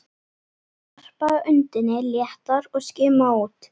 Hann varpaði öndinni léttar og skimaði út.